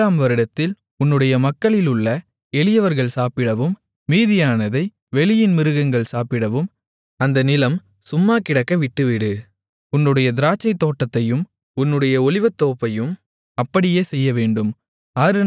ஏழாம் வருடத்தில் உன்னுடைய மக்களிலுள்ள எளியவர்கள் சாப்பிடவும் மீதியானதை வெளியின் மிருகங்கள் சாப்பிடவும் அந்த நிலம் சும்மாகிடக்க விட்டுவிடு உன்னுடைய திராட்சைத்தோட்டத்தையும் உன்னுடைய ஒலிவத்தோப்பையும் அப்படியே செய்யவேண்டும்